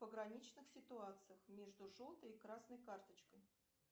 в пограничных ситуациях между желтой и красной карточкой